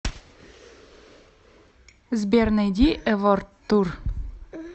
сбер найди эворд тур